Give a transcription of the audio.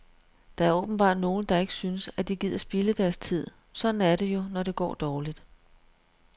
Der er åbenbart nogle, der ikke synes, at de gider spilde deres tid, sådan er det jo, når det går dårligt.